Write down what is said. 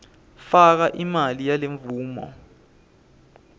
faka imali yalemvumo